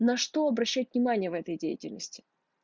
на что обращать внимание в этой деятельности